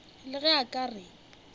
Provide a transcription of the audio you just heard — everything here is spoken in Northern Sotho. le ge a ka re